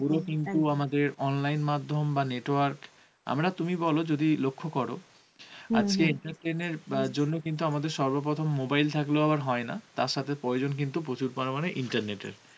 পুরো কিন্তু আমাদের online মাধ্যম বা network আমরা তুমি বলো যদি লক্ষ্য করো আজকে এর entertenment জন্য কিন্তু আমাদের সর্ব প্রথম mobile থাকলেও আবার হয়েনা তার সথে প্রয়োজন কিন্তু প্রচুর পরিমান internet এর